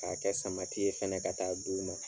K'a kɛ samati ye fɛnɛ ka taa di u ma.